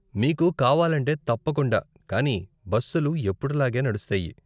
మీకు కావాలంటే, తప్పకుండా, కానీ బస్సులుఎప్పుడు లాగే నడుస్తాయి.